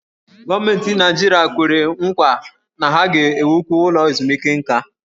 Gọọmenti Naịjirịa kwere nkwa na ha ga-ewukwu ụlọ ezumike nka.